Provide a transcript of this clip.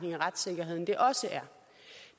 retssikkerheden det også er